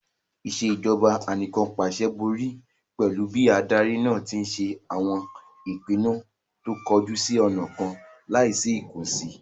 Ìṣèjọba Anìkànpàṣẹ borí pẹ̀lú bí adarí náà tí ń ṣe àwọn ìpinnu tó kọjú sí ọ̀nà kan láì sí ìkànsì